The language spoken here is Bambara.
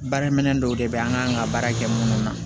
Baarakɛminɛn dɔw de bɛ an kan ka baara kɛ minnu na